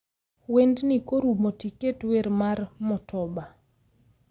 Wendni korumo tiket wer mar motoba